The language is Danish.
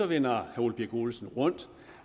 vender herre ole birk olesen rundt